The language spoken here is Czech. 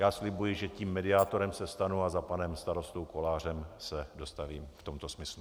Já slibuji, že tím mediátorem se stanu a za panem starostou Kolářem se dostavím v tomto smyslu.